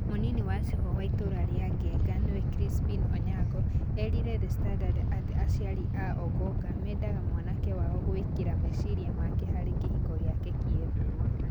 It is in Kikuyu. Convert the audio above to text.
Mũnini wa cibũ wa ĩtũũra rĩa Genga nĩwe Crispin Onyango, eerire The Standard atĩ aciari a Ong'ong'a mendaga mwanake wao gũĩkĩra meciria make harĩ kĩhiko gĩake kĩerũ.